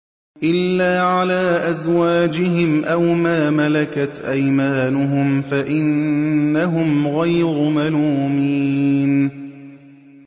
إِلَّا عَلَىٰ أَزْوَاجِهِمْ أَوْ مَا مَلَكَتْ أَيْمَانُهُمْ فَإِنَّهُمْ غَيْرُ مَلُومِينَ